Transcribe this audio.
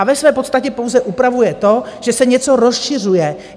A ve své podstatě pouze upravuje to, že se něco rozšiřuje.